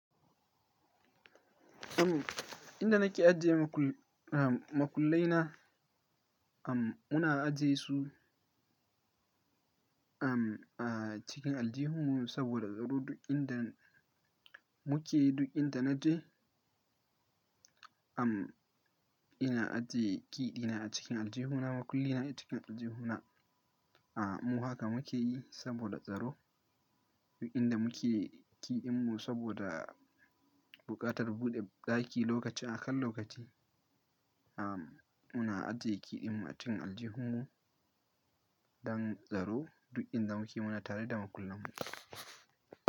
Am, inda nake ajiye makul- makullai na, am, muna ajiye su, am, a cikin aljihunmu saboda tsaro duk inda muke, duk inda na je, am, ina ajiye key ɗina a cikin aljihuna, makulli na a cikin aljihuna. A, mu haka mu ke yi saboda tsaro, duk inda muke key ɗinmu saboda buƙatar buɗe ɗaki lokaci a kan lokaci. Am, muna ajiye kiɗinmu a cikin aljihunmu don tsaro duk inda muke muna tare da makullanmu.